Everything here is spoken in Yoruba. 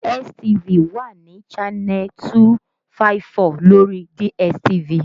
STV wà ní channel 254 lórí DSTV